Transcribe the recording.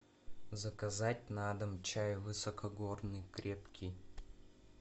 заказать на дом чай высокогорный крепкий